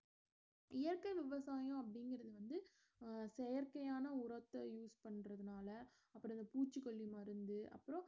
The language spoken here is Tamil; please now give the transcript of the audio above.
இயற்கை விவசாயம் அப்படிங்கறது வந்து அஹ் செயற்கையான உரத்தை use பண்றதுனால அப்புறம் இந்த பூச்சிக்கொல்லி மருந்து அப்புறம்